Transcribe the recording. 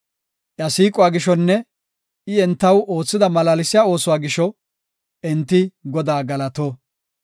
Iya siiquwa gishonne I entaw oothida malaalsiya oosuwa gisho enti Godaa galato.